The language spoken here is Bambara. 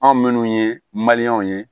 Anw minnu ye ye